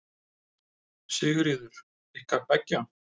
Sigríður: Ykkar beggja?